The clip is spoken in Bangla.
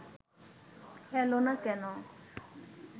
এল না কেন